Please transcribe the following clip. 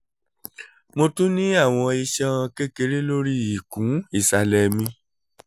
mo tun ni awọn iṣan kekere lori ikun isalẹ mi